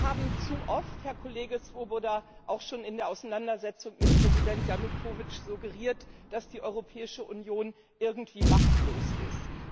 Wir haben zu oft, Herr Kollege Swoboda, auch schon in der Auseinandersetzung mit Präsident Janukowytsch suggeriert, dass die Europäische Union irgendwie machtlos ist.